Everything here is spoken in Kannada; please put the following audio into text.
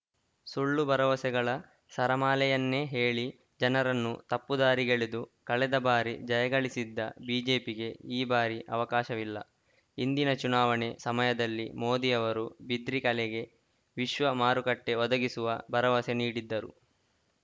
ಸುಳ್ಳು ಭರವಸೆಗಳ ಸರಮಾಲೆಯನ್ನೇ ಹೇಳಿ ಜನರನ್ನು ತಪ್ಪು ದಾರಿಗೆಳೆದು ಕಳೆದ ಬಾರಿ ಜಯ ಗಳಿಸಿದ್ದ ಬಿಜೆಪಿಗೆ ಈ ಬಾರಿ ಅವಕಾಶವಿಲ್ಲ ಹಿಂದಿನ ಚುನಾವಣೆ ಸಮಯದಲ್ಲಿ ಮೋದಿ ಅವರು ಬಿದ್ರಿ ಕಲೆಗೆ ವಿಶ್ವ ಮಾರುಕಟ್ಟೆಒದಗಿಸುವ ಭರವಸೆ ನೀಡಿದ್ದರು